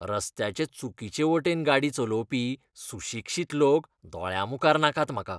रस्त्याचे चुकीचे वटेन गाडी चलोवपी सुशिक्षीत लोक दोळ्यांमुखार नाकात म्हाका.